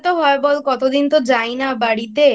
হয় বল কতদিন তো যাই না বাড়িতে।